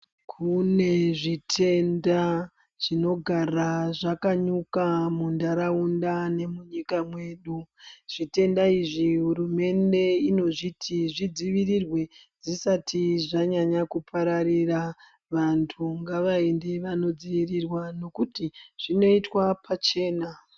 Kune zvitenda zvinogara zvakanyuka muntaraunda nemunyika mwedu, zvitenda izvi, hurumende inozviti zvidzivirirwe zvisati zvanyanya kupararira. Vantu ngavaende vanodziirirwa nokuti zvinoitwa pachena.